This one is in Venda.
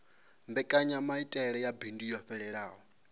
mbekanyamaitele ya bindu yo fhelelaho